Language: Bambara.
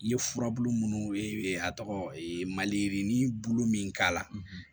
I ye furabulu munnu ye a tɔgɔ ye maliyirinin bulu min k'a la